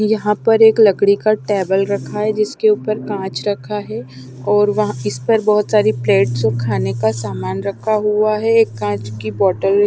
यहाँ पर एक लकड़ी का टेबल रखा है जिसके ऊपर कांच रखा है और वहाँ इस पर बहुत सारी प्लेट्स और खाने का सामान रखा हुआ है एक कांच की बोतल।